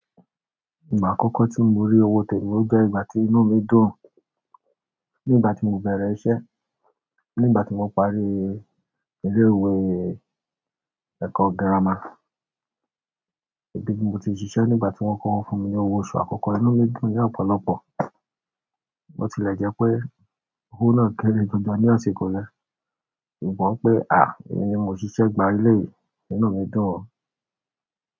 Ìgbà àkọ́kọ́ tí mo rí owó tèmi ó jẹ́ ìgbà tí inú mi dùn. Ní ìgbà tí mo bẹ̀rẹ̀ iṣẹ́, ní ìgbà tí mo parí ilé ìwé ẹ̀kọ́ gírámà, ibi tí mo ti ṣiṣẹ́ nígbà tí wọ́n kọ wá fún mi ní owó oṣù àkọ́kọ́, inú mi dùn ní ọ̀pọ̀lọpọ̀. Bo ti le jẹ́ pé owó náà kéré jojo ní àsìkò náà, ṣùgbọ́n pé à! Èmi ni mo ṣiṣẹ́ gba eleyìí, inú mi dùn o.